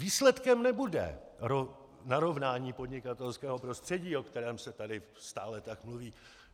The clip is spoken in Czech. Výsledkem nebude narovnání podnikatelského prostředí, o kterém se tady tak stále mluví.